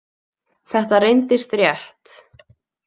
Þetta reyndist rétt.